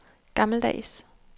gammeldags